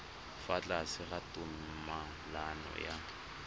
fa tlase ga tumalano ya